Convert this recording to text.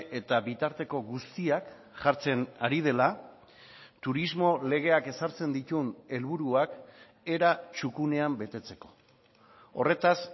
eta bitarteko guztiak jartzen ari dela turismo legeak ezartzen dituen helburuak era txukunean betetzeko horretaz